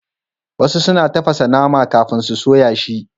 Wasu suna tafasa nama kafin su soya shi.